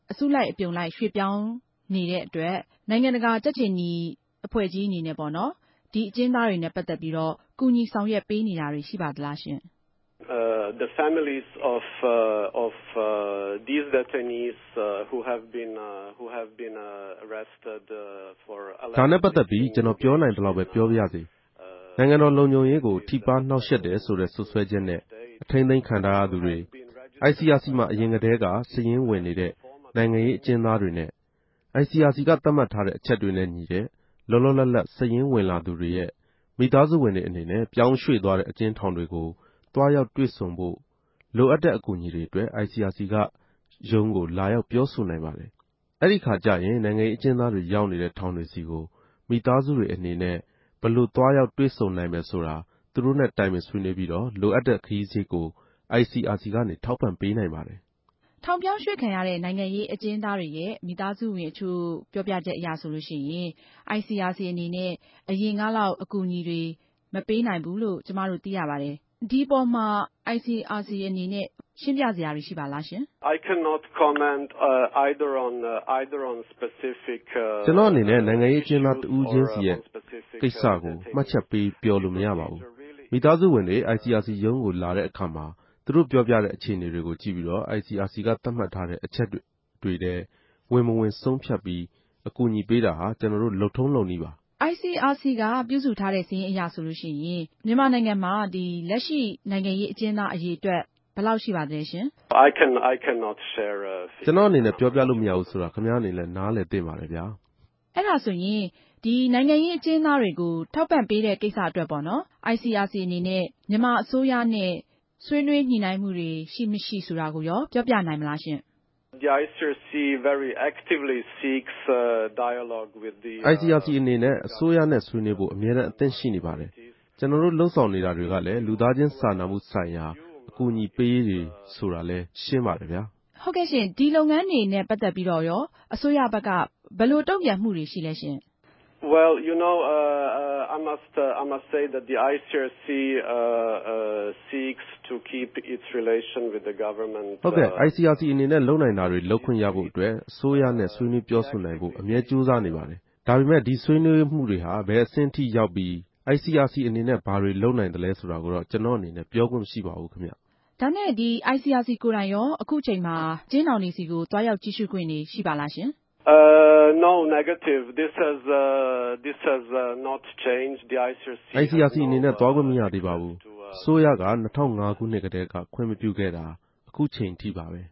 အစုလိုက် အူပံလြိုက် ေ႟ြႚေူပာင်းနေတော့ ိံိုင်ငံတကာ ုကက်ေူခနီအသင်းဋ္ဌကီးအနေနဲႛ ဒီအကဵဉ်းသားတေနြဲႛပတ်သက်္ဘပီး ကူညီ ဆောင်႟ြက်ပေးနေတာတြေ ရြိပၝသလားရြင့်။ ဒၝနဲႛပတ်သက်္ဘပီး ကဵနော်ေူပာိံိုင်သလောက်ပဲ ေူပာပၝရစေ။ ိံိုင်ငံတော်လုံူခံြရေးကို ထိပၝး ေိံြာင့်ယြက်တယ်ဆိုတဲ့ စြပ်စဲခြဵက်နဲႛ အထိန်းသိမ်းခံထားရသူတြေ၊ ICRC မြာ အရင်ကတည်းက စာရင်းဝင်နေတဲ့ ိံိုင်ငံရေးအကဵဉ်းသားတေနြဲႛ ICRC ကသတ်မြတ်ထားတဲ့ အခဵက်တေနြဲႛညီတဲ့ လောလောလတ်လတ် စာရင်းဝင်လာသူတေရြဲ့ မိသားစုဝင်တြေ အနေနဲႛ ေူပာင်းေ႟ြႛသြားတဲ့ အကဵဉ်းထောင်တေဆြီကို သြားရောက်တြေႚဆုံဖိုႛ လိုအပ်တဲ့ အကူအညီတေအြတြက် ICRC ႟ုံးကို လာရောက် ေူပာဆိုံိုင်ပၝတယ်။ အဲဒီအခၝကဵရင် ိံိုင်ငံရေးအကဵဉ်းသားတြေ ရောက်နေတဲ့ ထောင်တေဆြီကို မိသားစုတေအြနေနဲႛ ဘယ်လို သြားရောက်တြေႚဆံိုံိုင်မယ်ဆိုတာ သူတိုႛနဲႛ တိုင်ပင်ဆြေးေိံြး္ဘပီး လိုအပ်တဲ့ခရီးစရိတ်ကို ICRC က ထောက်ပံ့ပေးိံိုင်ပၝတယ်။ ထောင်ေူပာင်းေ႟ြႛခံရတဲ့ ိံိုင်ငံရေး အကဵဉ်းသားတေရြဲ့ မိသားစုဝင်အခဵြိႚ ေူပာူပခဵက်အရဆိုရင် ICRC အနေနဲႛ အရင်ကလောက် အကူအညီတြေ မပေးိံိုင်ဘူးလိုႛ သိရပၝတယ်။ အဲဒၝ ဘာူဖစ်လိုႛပၝလဲရြင့်။ ကဵနော့အနေနဲႛ ိံိုင်ငံရေးအကဵဉ်းသား တဦးခဵင်းစီရဲ့ ကိင်္စတခုခဵင်းကို မြတ်ခဵက်ပေး ေူပာလိုႛမရပၝဘူး။ မိသားစုဝင်တြေ ICRC ႟ုံးကို လာတဲ့အခၝမြာ သူတိုႛေူပာူပတဲ့ အေူခအနေတေကြို ုကည့်္ဘပီး ICRC က သတ်မြတ်ထားတဲ့ အခဵက်တေထြဲ ဝင်မဝင် ဆုံးူဖတ်္ဘပီး အကူအညီပေးတာဟာ ကဵနော်တိုႛ လုပ်ထုံးလုပ်နည်းပၝ။ ICRC က ူပစြုထားတဲ့ စာရင်းအရဆိုရင် ူမန်မာိံိုင်ငံမြာ လက်ရြိ ိံိုင်ငံရေးအကဵဉ်းသား အရေအတြက် ဘယ်လောက်ရြိလဲရြင်။ ကဵနော့အနေနဲႛ ေူပာူပလိုႛမရဘူးဆိုတာ ခင်ဗဵားအနေနဲႛ နားလည်သင့်ပၝတယ်။ အဲဒၝဆိုရင် ိံိုင်ငံရေးအကဵဉ်းသားတေကြို ထောက်ပံ့ပေးတဲ့ ကိင်္စတေအြတြက် ICRC အနေနဲႛ ူမန်မာအစိုးရနဲႛ ဆြေးေိံြးညိၟိံြိင်းမြတြေ ရြိမရြိ ဆိုတာကိုရော ေူပာူပိံိုင်မလားရြင့်။ ICRC အနေနဲႛ အစိုးရနဲႛ ဆြေးေိံြးဖိုႛ အူမဲတမ်း အဆင့်သင့်ရြိပၝတယ်။ ကဵနော်တိုႛ လုပ်ဆောင်နေတာတေကြလည်း လူသားခဵင်း စာနာမဆြိုင်ရာ အကူအညီပေးရေးတြေ ဆိုတာလည်း ရြင်းပၝတယ်။ ဟုတ်ကဲ့၊ ဒီလုပ်ငန်းတေနြဲႛပတ်သက်္ဘပီး အစိုးရဘက်က ဘယ်လိုတုံႛူပန်လဲရြင့်။ ICRC အနေနဲႛ လုပိံိုင်တာတြေ လုပ်ခြင့်ရဖိုႛအတြက် အစိုးရနဲႛ ဆြေးေိံြးေူပာဆိုံိုင်ဖိုႛ အူမဲ ဋ္ဌကိြးစားနေပၝတယ်။ ဒၝပေမဲ့ ဒီဆြေးေိံြးမြတေဟြာ ဘယ့်အဆင့်ထိရောက်္ဘပီ၊ ICRC အနေနဲႛ ဘာတေလြုပိံိုင်သလဲဆိုတာကိုတော့ ကဵနော်အနေနဲႛ ေူပာခြင့်မရြိပၝဘူး။ ၝနဲႛ ICRC ကိုယ်တိုင်ရော အကဵဉ်းထောင်တေဆြီကို သြားရောက် ုကည့်႟ခြြင့် ရြိပၝလားရြင်။ ICRC အနေနဲႛ သြားခြင့် မရသေးပၝဘူး။ အစိုးရက ၂၀၀၅ခိုံြစ်ကတည်းက ခြင့်မူပခြဲ့တာ အခုခဵိန်ထိပၝပဲ